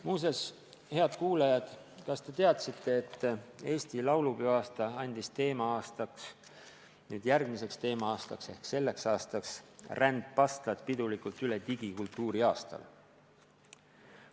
Muuseas, head kuulajad, kas te teadsite, et Eesti laulupeoaasta andis järgmiseks teema-aastaks ehk selleks aastaks rändpastlad pidulikult üle digikultuuriaastale?